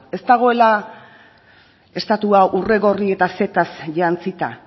ez dagoela estatua urregorri eta zetaz jantzita